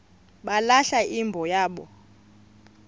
balahla imbo yabo